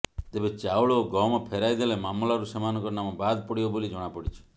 ତେବେ ଚାଉଳ ଓ ଗହମ ଫେରାଇ ଦେଲେ ମାମଲାରୁ ସେମାନଙ୍କ ନାମ ବାଦ୍ ପଡ଼ିବ ବୋଲି ଜଣାପଡ଼ିଛି